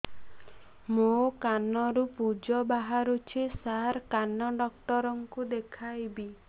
ମୋ କାନରୁ ପୁଜ ବାହାରୁଛି ସାର କାନ ଡକ୍ଟର କୁ ଦେଖାଇବି